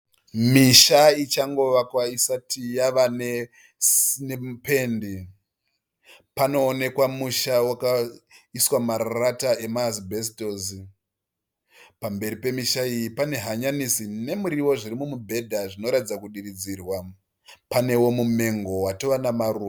Misha ichango vakwa isati yavanependi. Panowonekwa musha wakaiswa marata emaasibhesitosi. Pamberi pemisha iyi pane hanyanisi nemuriwo zviri mumubhedha zvinoratidza kudiridzirwa panewo mumengo watova namaruva.